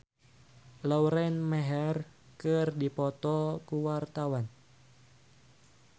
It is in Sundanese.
Oppie Andaresta jeung Lauren Maher keur dipoto ku wartawan